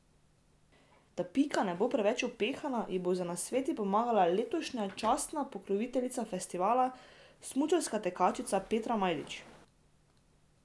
Da Pika ne bo preveč upehana, ji bo z nasveti pomagala letošnja častna pokroviteljica festivala, smučarska tekačica Petra Majdič.